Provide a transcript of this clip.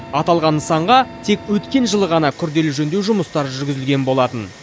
аталған нысанға тек өткен жылы ғана күрделі жөндеу жұмыстары жүргізілген болатын